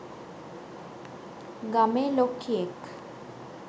ගමේ ලොක්කියෙක්.